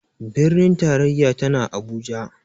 Birnin tarayya tana Abuja.